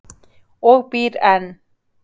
Og býr enn.